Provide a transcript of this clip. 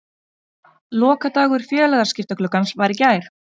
Lokadagur félagaskiptagluggans var í gær.